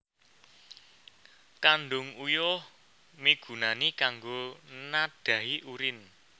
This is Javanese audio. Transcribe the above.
Kandhung Uyuh migunani kanggo nadhahi urine